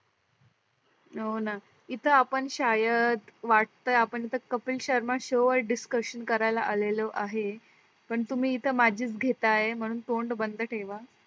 हो न इथ आपण शायद वाटतंय आपण इथ कपिल शर्मा शो वर discussion करायला आलेलो आहे. पण तुम्ही इथ माझीच घेत आहे म्हणून तोंड बंद ठेवा.